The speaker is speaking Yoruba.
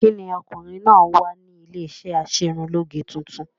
Kí ni ọkùnrin náà ń wá ní iléeṣé aṣerunlóge tuntun?